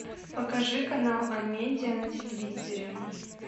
покажи канал амедиа на телевизоре